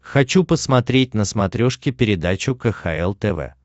хочу посмотреть на смотрешке передачу кхл тв